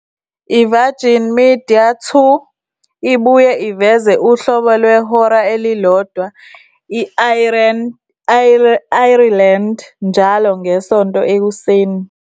IVirgin Media Two ibuye iveze uhlobo lwehora elilodwa e-Ireland njalo ngeSonto Ekuseni.